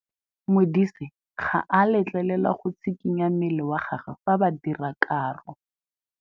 Modise ga a letlelelwa go tshikinya mmele wa gagwe fa ba dira karô.